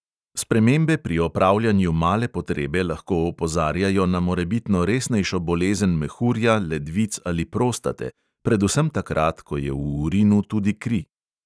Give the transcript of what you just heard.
Spremembe pri opravljanju male potrebe lahko opozarjajo na morebitno resnejšo bolezen mehurja, ledvic ali prostate – predvsem takrat, ko je v urinu tudi kri.